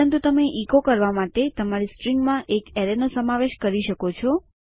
પરંતુ તમે ઇકો કરવા માટે તમારી સ્ટ્રીંગમાં એક એરેયનો સમાવેશ કરી શકો છો